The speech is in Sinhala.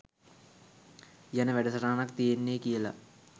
යන වැඩ සටහනක් තියෙන්නෙ කියලා.